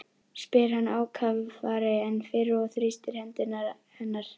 spyr hann ákafari en fyrr og þrýstir hendur hennar.